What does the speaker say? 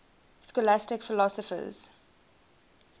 scholastic philosophers